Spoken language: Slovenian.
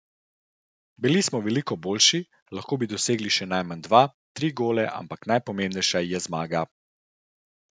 Bili smo veliko boljši, lahko bi dosegli še najmanj dva, tri gole, ampak najpomembnejša je zmaga.